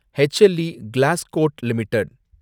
H L E Glascoat limited